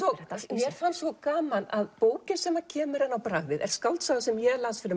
mér fannst svo gaman að bókin sem kemur henni á bragðið er skáldsaga sem ég las fyrir